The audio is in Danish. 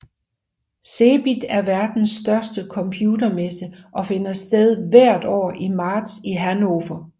CeBIT er verdens største computermesse og finder sted hvert år i marts i Hannover